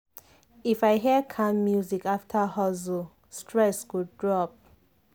if i hear calm music after hustle stress go drop.